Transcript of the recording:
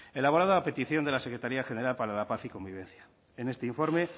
elaborado a petición de la secretaría general para la paz y convivencia en este informe